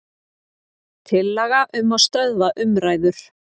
Tillaga um að stöðva umræður.